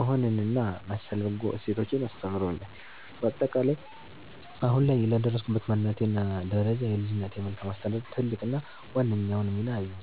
መሆንንና መሰል በጎ እሴቶችን አስተምረውኛል። ባጠቃላይ፦ አሁን ላይ ለደረስኩበት ማንነትና ደረጃ የልጅነቴ መልካም አስተዳደግ ትልቁንና ዋነኛውን ሚና ይይዛል።